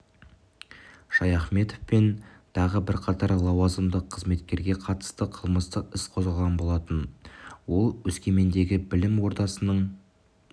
шаяхметов пен тағы бірқатар лауазымды қызметкерге қатысты қылмыстық іс қозғалған болатын ол өскемендегі білім ордасының